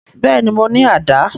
Bẹ́ẹ̀ni, mo ni àdá